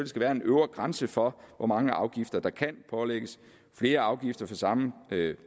skal være en øvre grænse for hvor mange afgifter der kan pålægges flere afgifter for samme